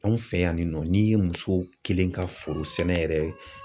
Anw fɛ yan nɔ n'i ye muso kelen ka foro sɛnɛ yɛrɛ